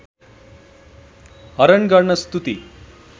हरण गर्न स्तुति